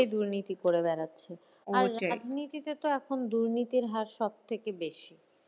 নিজেরাই দুর্নীতি করে বেড়াচ্ছে আর রাজনীতিতে তো এখন দুর্নীতির হার সব থেকে বেশি